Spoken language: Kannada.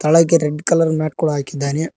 ಒಳಗೆ ರೆಡ್ ಕಲರ್ ಮ್ಯಾಟ್ ಕೂಡ ಹಾಕಿದ್ದಾನೆ.